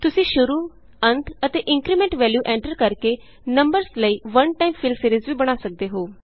ਤੁਸੀਂ ਸ਼ੁਰੂ ਅੰਤ ਅਤੇ ਇੰਕਰੀਮੈਂਟ ਵੈਲਯੂ ਐਂਟਰ ਕਰਕੇ ਨੰਬਰਸ ਲਈ ਵਨ ਟਾਈਮ ਫਿਲ ਸੀਰੀਜ ਵੀ ਬਣਾ ਸਕਦੇ ਹੋ